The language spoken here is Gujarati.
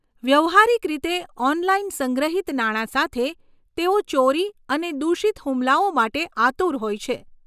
વ્યવહારીક રીતે 'ઓનલાઇન' સંગ્રહિત નાણાં સાથે, તેઓ ચોરી અને દૂષિત હુમલાઓ માટે આતુર હોય છે.